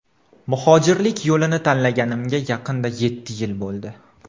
Muhojirlik yo‘lini tanlaganimga yaqinda yetti yil bo‘ldi.